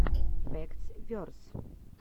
фэктс верс